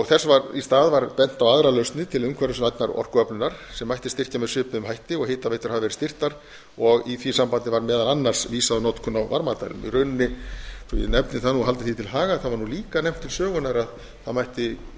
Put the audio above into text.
þess ár í stað bent á aðrar lausnir til umhverfisvænnar orkuöflunar sem mætti styrkja með svipuðum hætti og hitaveitur hafa verið styrktar og í því sambandi var meðal annars vísað á notkun á varmadælum í rauninni svo ég nefni það nú og haldi því til haga var líka nefnt til sögunnar að það